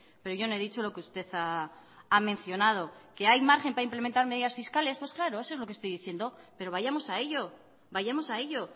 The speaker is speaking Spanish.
pero yo no he dicho lo que usted ha mencionado que hay margen para implementar medidas fiscales pues claro eso es lo que estoy diciendo pero vayamos a ello vayamos a ello